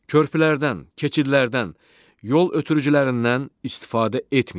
Körpülərdən, keçidlərdən, yol ötürücülərindən istifadə etməyin.